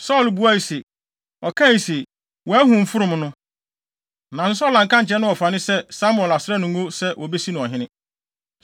Saulo buae se, “Ɔkae se, wɔahu mfurum no.” Nanso Saulo anka ankyerɛ ne wɔfa no sɛ Samuel asra no ngo sɛ wobesi no ɔhene.